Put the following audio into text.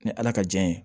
Ni ala ka jɛn ye